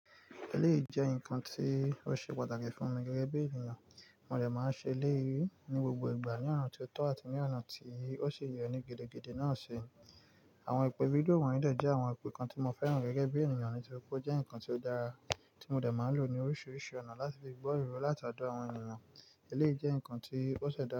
Eleyi jẹ́ ǹkan tí ó ṣe pàtàkì fún mi gẹ́gẹ́ bí ènìyàn. Mo dẹ máa ń ṣe eléyìí ní gbogbo ìgbà ní ọ̀nà tí ó tọ́ àti ní ọ̀nà tí ó si yẹ ni gidigidi náà si, Àwọn ìpè fídíò wọ̀nyí dẹ jẹ́ àwọn ìpè kan tí mo fẹ́ràn gẹ́gẹ́ bí ènìyàn nítorí pé ó jẹ́ ǹkan tí ó dára tí mo dẹ máa ń lò ní oríṣiríṣi ọ̀nà láti fi gbọ́ ìró láti ọ̀dọ̀ àwọn ènìyàn. Eleyii jẹ́ ǹkan tí ó ṣẹ̀dá.